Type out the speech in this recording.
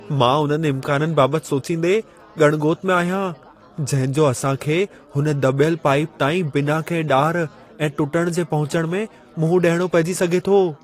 मां उननि इम्काननि बाबति सोचींदे ॻण ॻोत में आहियां, जंहिं जो असां खे हुन दॿयल पाइप ताईं बिना कंहिं ॾार ऐं टुटण जे पहुचण में मुंहं ॾियणो पहिजी सघे थो।